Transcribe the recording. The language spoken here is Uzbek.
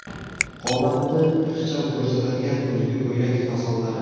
Qomatni ixcham ko‘rsatadigan kuzgi ko‘ylak fasonlari .